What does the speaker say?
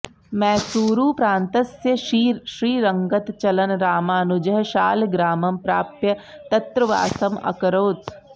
मैसूरुप्रान्तस्य श्रीरङ्गतः चलन् रामानुजः शालग्रामं प्राप्य तत्र वासम् अकरोत्